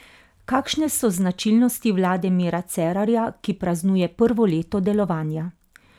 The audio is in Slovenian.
Kakšne so značilnosti vlade Mira Cerarja, ki praznuje prvo leto delovanja?